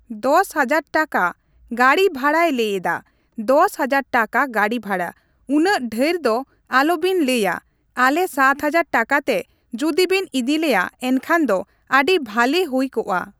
ᱫᱚᱥ ᱦᱟᱡᱟᱨ ᱴᱟᱠᱟ ᱜᱟᱹᱰᱤ ᱵᱷᱟᱲᱟᱭ ᱞᱟᱹᱭ ᱮᱫᱟ, ᱫᱚᱥ ᱦᱟᱡᱟᱨ ᱴᱟᱠᱟ ᱜᱟᱹᱰᱤ ᱵᱷᱟᱲᱟ, ᱩᱱᱟᱹᱜ ᱰᱷᱮᱨ ᱫᱚ ᱟᱞᱚᱵᱮᱱ ᱞᱟᱹᱭᱟ ᱟᱞᱮ ᱥᱟᱛ ᱦᱟᱡᱟᱨ ᱴᱟᱠᱟ ᱛᱮ ᱡᱩᱫᱤ ᱵᱮᱱ ᱤᱫᱤᱞᱮᱭᱟ ᱮᱱᱠᱷᱟᱱ ᱫᱚ ᱟᱹᱰᱤ ᱵᱷᱟᱞᱤ ᱦᱩᱭ ᱠᱚᱜᱼᱟ ᱾